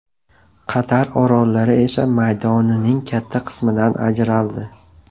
Qator orollar esa maydonining katta qismidan ajraldi.